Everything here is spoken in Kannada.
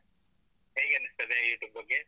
ಹೇಗೆ ಅನಿಸ್ತದೆ YouTube ಬಗ್ಗೆ?